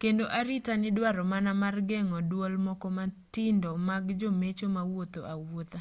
kendo arita nidwaro mana mar geng'o duol moko matindo mag jomecho mawuotho awuotha